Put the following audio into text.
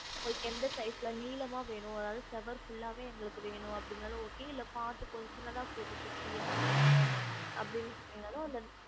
உங்களுக்கு எந்த size ல நீளமா வேணும் அதாவது செவர் full லாவே எங்களுக்கு வேணும் அப்டினாலும் okay இல்ல பாத்து கொஞ்சம் சின்னதா போதும் குட்டியா அப்டினு சொன்னிங்க நாலும்